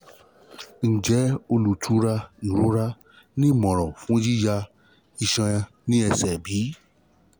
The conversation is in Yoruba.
njẹ olutura irora ni irora ni imọran fun yiya iṣan ni ẹsẹ bi?